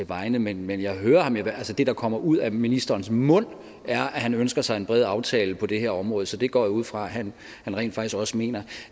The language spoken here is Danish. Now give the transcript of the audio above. vegne men men det der kommer ud af ministerens mund er at han ønsker sig en bred aftale på det her område så det går jeg ud fra at han rent faktisk også mener